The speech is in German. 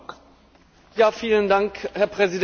Herr Präsident, liebe Kolleginnen und Kollegen!